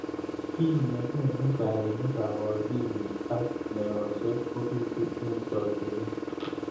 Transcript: Ki nekonu kaimet ab akilit ak meoshek kobitu eng jokyinet.